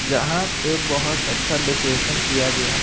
यहां पे बहुत अच्छा डेकोरेशन किया गया है।